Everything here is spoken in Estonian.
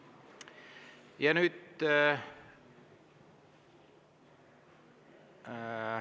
Ja nüüd …